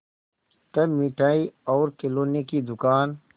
तब मिठाई और खिलौने की दुकान